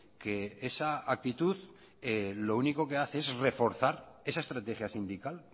que esa actitud lo único que hace es reforzar esa estrategia sindical